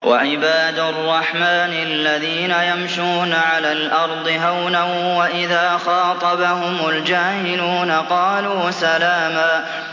وَعِبَادُ الرَّحْمَٰنِ الَّذِينَ يَمْشُونَ عَلَى الْأَرْضِ هَوْنًا وَإِذَا خَاطَبَهُمُ الْجَاهِلُونَ قَالُوا سَلَامًا